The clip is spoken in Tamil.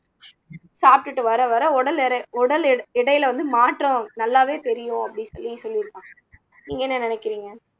சாப்பிட்டுட்டு வர வர உடல் எ உடல் எ எடையில வந்து மாற்றம் நல்லாவே தெரியும் அப்படின்னு சொல்லி சொல்லியிருப்பாங்க நீங்க என்ன நினைக்கிறீங்க